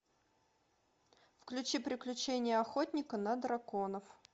включи приключения охотника на драконов